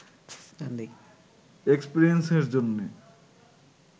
এক্সপেরিয়েন্সের জন্যে